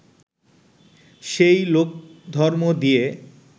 সেই লোকধর্ম দিয়ে